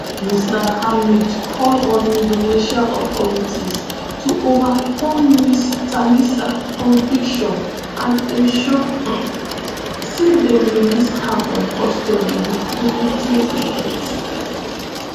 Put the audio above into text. mr hamid call on indonesian authorities to overturn ms thalisa conviction and ensure um say dem release her from custody wit immediate effect.